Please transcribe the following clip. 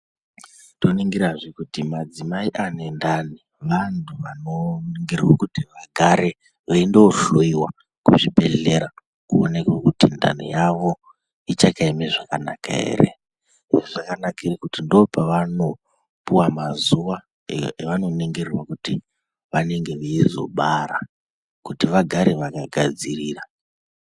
Toningirazve kuti madzimai ane ndani vantu vandoningirwe kuti vagare veindohloyiwa kuzvibhehlera kuoneke kuti ndani yavo ichakaeme zvakanaka here. Izvi zvakanakire kuti ndoopavanopuwa mazuva evanoningirirwa kuti vanenge veizobara, kuti vagare vanegadzirira.